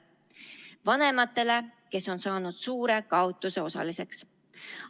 Vanematele, kes on saanud suure kaotuse osaliseks.